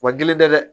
Wa gɛlɛn tɛ dɛ